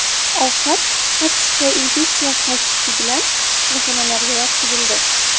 Ovqat toksikoinfeksiyasi” tashxisi bilan kasalxonalarga yotqizildi.